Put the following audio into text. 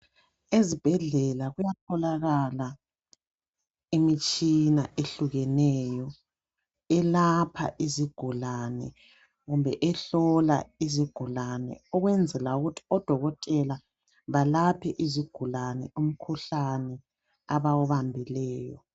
Ezibhedlela kuyatholakala imitshina ehlukeneyo elapha izigulane kumbe ehlola izigulane ukwenzela ukuthi odokotela balaphe izigulane umkhuhlane abawubambileyo.